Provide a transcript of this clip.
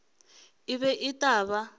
e be e tla ba